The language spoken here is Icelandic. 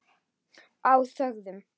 Og þögðum.